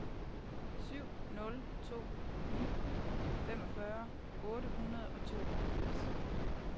syv nul to ni femogfyrre otte hundrede og tooghalvfems